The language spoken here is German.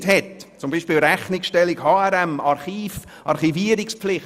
Darunter fallen zum Beispiel die Rechnungsstellung nach HRM oder die Archivierungspflicht.